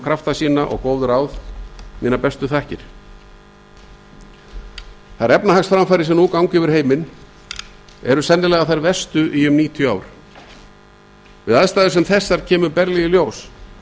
krafta sína og góð ráð mínar bestu þakkir þær efnahagshamfarir sem nú ganga yfir heiminn eru þær verstu í um níutíu ár í aðstæðum sem þessum kemur berlega í ljós